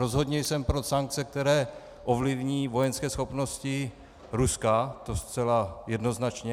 Rozhodně jsem pro sankce, které ovlivní vojenské schopnosti Ruska, to zcela jednoznačně.